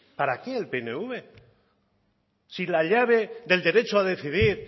para qué el pnv si la llave del derecho a decidir